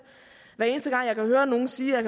hver eneste gang jeg kan høre nogen sige jeg